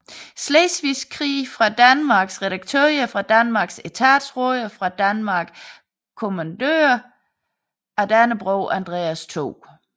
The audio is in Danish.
Slesvigske Krig fra Danmark Redaktører fra Danmark Etatsråder fra Danmark Kommandører af Dannebrog Andreas 2